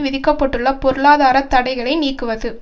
விதிக்க பட்டுள்ள பொருளாதார தடைகளை நீக்குவது